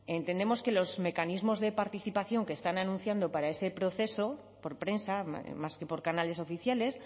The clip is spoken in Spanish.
entendemos que los mecanismos de participación que están anunciando para ese proceso por prensa más que por canales oficiales